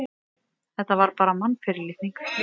Þetta var bara mannfyrirlitning.